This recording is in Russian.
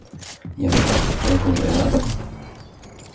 я встал потрогал повязку